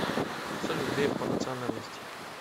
салют греф по национальности